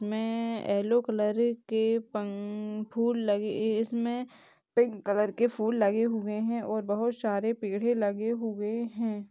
मैं yellow colour के पन फूल लगे इसमे पिंक कलर के फूल लगे हुए है और बोहोत सारे पेड़े भी लगे हुए है।